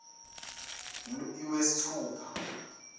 iwesithupha